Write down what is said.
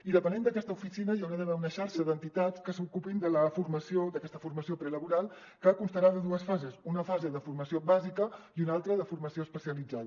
i depenent d’aquesta oficina hi haurà d’haver una xarxa d’entitats que s’ocupin d’aquesta formació prelaboral que constarà de dues fases una fase de formació bà·sica i una altra de formació especialitzada